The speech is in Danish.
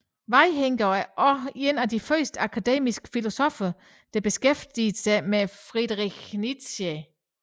Vaihinger var også en af de første akademiske filosoffer der beskæftigede sig med Friedrich Nietzsche